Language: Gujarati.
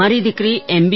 મારી દીકરી એમ